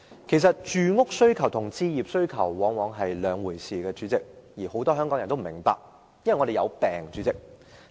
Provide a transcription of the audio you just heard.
其實，住屋需求和置業需求往往是兩回事，但很多人都不明白，因為我們有"病"。